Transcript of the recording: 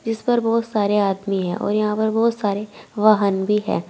जिसपर बहोत सारे आदमी है और यहां पर बहोत सारे वाहन भी है।